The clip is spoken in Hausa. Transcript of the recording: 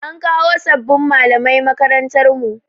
An kawo sabbin malamai makarantar mu.